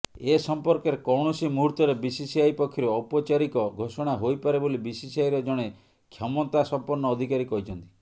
ଏସମ୍ପର୍କରେ କୌଣସି ମୁହୂର୍ତ୍ତରେ ବିସିସିଆଇ ପକ୍ଷରୁ ଔପଚାରିକ ଘୋଷଣା ହୋଇପାରେ ବୋଲି ବିସିସିଆଇର ଜଣେ କ୍ଷମତାସମ୍ପନ୍ନ ଅଧିକାରୀ କହିଛନ୍ତି